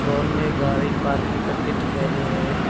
Ground में गाड़ी parking करके दिखाई दे रहा है।